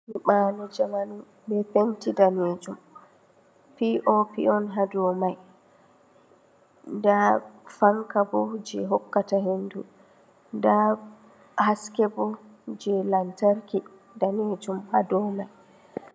Nyiɓalo njamanu be penti danejum, pop on ha dou mai, nda fanka bo je hokkata hendu, nda haske bo je lamtarki danejum ha dou mai.